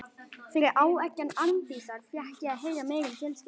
Fyrir áeggjan Arndísar fékk ég að heyra meira um fjölskylduna.